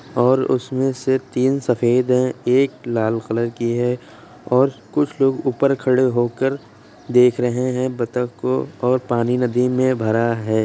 और उसमे से तीन सफ़ेद है एक लाल कलर के है और कुछ लोग ऊपर खड़े हो कर देख रहे है बतख को और पानी नदी में भरा है ।